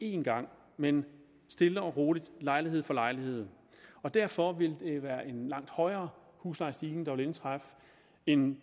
en gang men stille og roligt lejlighed for lejlighed og derfor vil det være en langt højere huslejestigning der vil indtræffe end